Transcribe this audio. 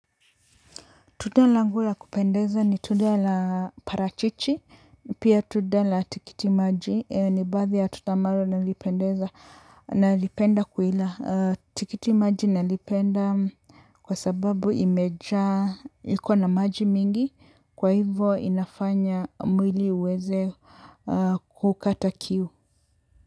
Tunda langubla kupeza ni tunda la parachichi, pia tunda la tikiti maji, ni baadhi ya tunda ambalo nalipendeza, nalipenda kuila. Tikiti maji nalipenda kwa sababu imejaa, ikona maji mingi, kwa hivyo inafanya mwili uweze kukata kiu.